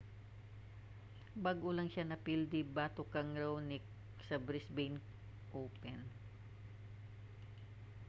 bag-o lang siya napildi batok kang raonic sa brisbane open